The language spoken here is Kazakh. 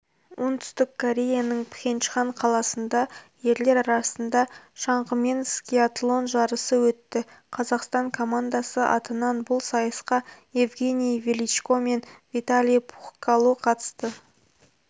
оңтүстік кореяның пхенчхан қаласында ерлер арасында шаңғымен скиатлон жарысы өтті қазақстан командасы атынан бұл сайысқа евгений величко мен виталий пухкало қатысты